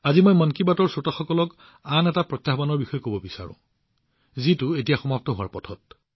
আজি মই মন কী বাতৰ শ্ৰোতাসকলক আন এটা প্ৰত্যাহ্বানৰ বিষয়ে কব বিচাৰো যিটো এতিয়া সমাপ্তিৰ পথত